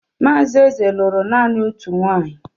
Mazi Eze lụrụ nanị otú nwanyị.